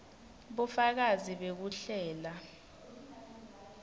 bufakazi bekuhlela